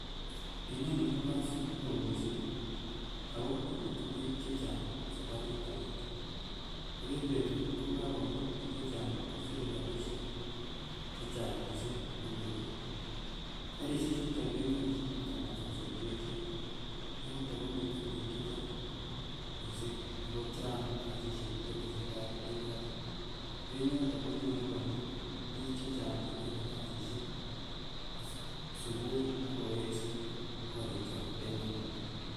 Ineni ko pasit neo mising ago imuti biik che chang saparit agenge ak en betut ko kagomut biik chechang kosire rapisiek chechang mising en betut. Karisiechuto kenyorchin nganasosiek che eechen. Yoton komiten biik che chang mising ago chang kasisiek che tesetai en yoton. Eng yoton konyalu komut biik che chang chependi kasisiek uh!, asupui ak kowekse korikwak en langat